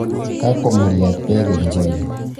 Kaakwam muryaat beek eng' choge